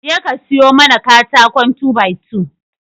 Je ka sayo mana katakon 2by2